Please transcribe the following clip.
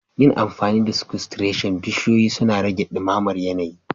Yin amfani da sequestration, bishiyoyi suna rage dumamar yanayi